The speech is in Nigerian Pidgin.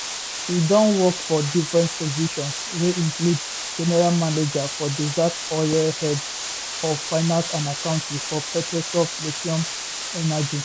e don work for different positions wey include general manager for desert oil head of finance and accounting for petrosol platinum energy